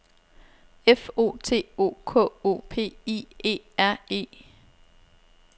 F O T O K O P I E R E